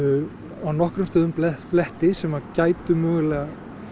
á nokkrum stöðum bletti bletti sem gætu mögulega